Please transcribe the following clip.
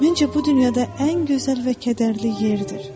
Məncə bu dünyada ən gözəl və kədərli yerdir.